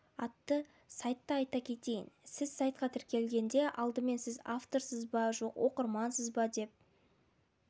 атты сайтты айта кетейін сіз сайтқа тіркелгенде алдымен сіз авторсыз ба жоқ оқырмансыз ба деп